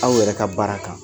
Aw yɛrɛ ka baara kan